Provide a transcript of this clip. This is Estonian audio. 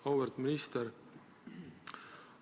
Auväärt minister!